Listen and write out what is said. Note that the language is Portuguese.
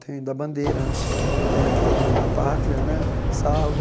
Tem o da bandeira né, tem aquele o da pátria né, Salve,